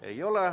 Ei ole.